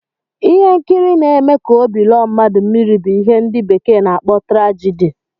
Ihe nkiri n'eme ka óbị lọọ mmadụ mmiri bu ihe ndi bekee n'akpọ trajidi